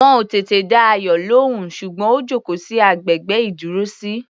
Wọn ò tètè dá Ayọ̀ lóhùn, ṣùgbọ́n ó jókòó sí agbègbè ìdúrósí.